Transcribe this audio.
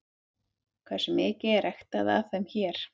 Hversu mikið er ræktað af þeim hér?